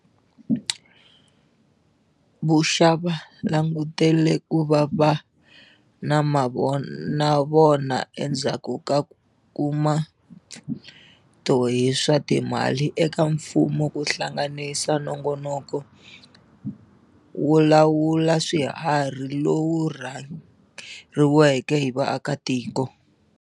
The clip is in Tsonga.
Vuxa va langutele ku va na mavonavona endzhaku ko kuma mpfune to hi swa timali eka mfumo ku hlanganisa nongonoko wo lawula swiharhi lowu rhange riweke hi vaakatiko.